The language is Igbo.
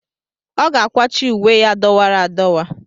Ọ ga-akwachi uwe ya dọwara adọwa.